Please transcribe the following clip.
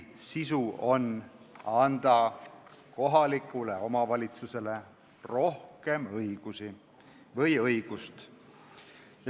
Selle eelnõu eesmärk on anda kohalikule omavalitsusele rohkem õigusi või õigust.